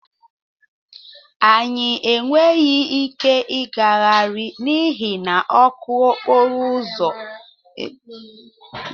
Anyị enweghị ike ịgagharị n'ihi na ọkụ okporo ụzọ ekweghị anyị ịkwaga.